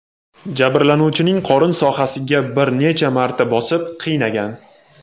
jabrlanuvchining qorin sohasiga bir necha marta bosib, qiynagan.